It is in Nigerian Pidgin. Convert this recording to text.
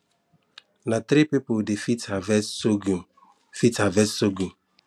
na three people dey fit harvest surghum fit harvest surghum